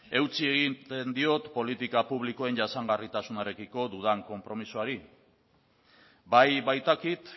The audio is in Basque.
eutsi egiten diot politika publikoen jasangarritasunarekiko dudan konpromisoari bai baitakit